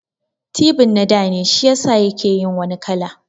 Tibin na dane shiyasa yake yin wani kala